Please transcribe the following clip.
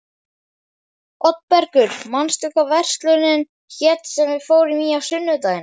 Oddbergur, manstu hvað verslunin hét sem við fórum í á sunnudaginn?